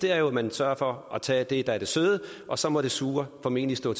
er at man sørger for at tage det der er det søde og så må det sure formentlig stå